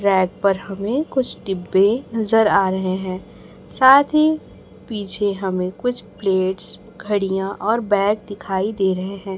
Rack पर हमें कुछ डिब्बे नजर आ रहे हैं साथ ही पीछे हमें कुछ प्लेट्स घड़ियां और बैग दिखाई दे रहे हैं।